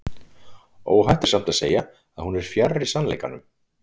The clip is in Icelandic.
Óhætt er samt að segja að hún er fjarri sannleikanum.